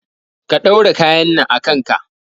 Ka ɗaura kayan nan a kanka